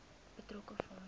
betrokke fonds